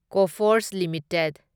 Coforge limited